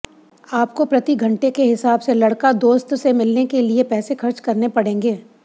आपको प्रतिघंटे के हिसाब से लड़का दोस्त से मिलने के लिए पैसे खर्च करने पड़ेंगे